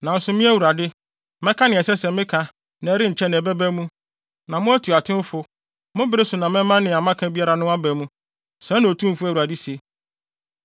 Nanso me Awurade, mɛka nea ɛsɛ sɛ meka na ɛrenkyɛ na ɛbɛba mu. Na mo atuatewfo, mo bere so na mɛma nea maka biara no aba mu. Sɛɛ na Otumfo Awurade se.’ ”